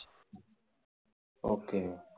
வெள்ளியங்கிரி எத்தனை kilometer மேல ஏறணும் விவேக்கு